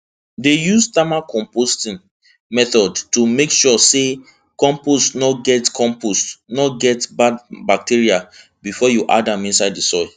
dey use thermal composting method to make sure say compost no get compost no get bad bacteria before you add am inside soil